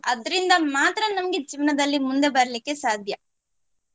ಅದ್ರಿಂದ ಮಾತ್ರ ನಮ್ಗೆ ಜೀವನದಲ್ಲಿ ಮುಂದೆ ಬರ್ಲಿಕ್ಕೆ ಸಾಧ್ಯ.